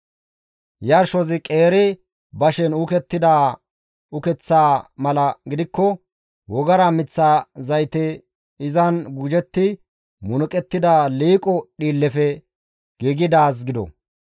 «Yarshozi qeeri bashen uukettida ukeththa mala gidikko wogara miththa zaytey izan gujetti munuqettida liiqo dhiillefe giigidaaz gido.